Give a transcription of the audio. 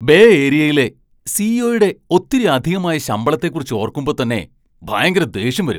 Bay ഏരിയയിലെ C. E. ഒ.യുടെ ഒത്തിരി അധികമായ ശമ്പളത്തെ കുറിച്ച് ഓർക്കുമ്പോ തന്നെ ഭയങ്കര ദേഷ്യം വരും.